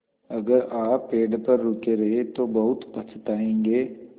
अगर आप पेड़ पर रुके रहे तो बहुत पछताएँगे